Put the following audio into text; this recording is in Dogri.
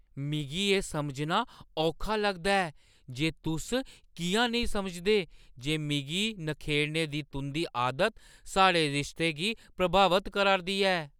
मिगी एह् समझना औखा लगदा ऐ जे तुस किʼयां नेईं समझदे जे मिगी नखेड़ने दी तुंʼदी आदत साढ़े रिश्ते गी प्रभावत करा 'रदी ऐ।